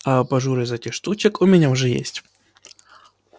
а абажур из этих штучек у меня уже есть